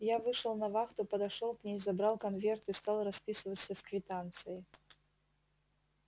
я вышел на вахту подошёл к ней забрал конверт и стал расписываться в квитанции